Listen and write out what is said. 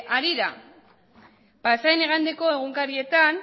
harira pasadan igandeko egunkarietan